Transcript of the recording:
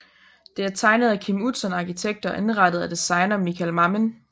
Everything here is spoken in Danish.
Det er tegnet af Kim Utzon Arkitekter og indrettet af designer Michael Mammen